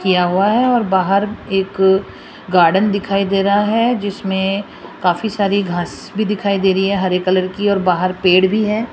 किया हुआ है और बाहर एक गार्डन दिखाई दे रहा है जिसमें काफी सारी घास भी दिखाई दे रही है हरे कलर की और बाहर पेड़ भी है।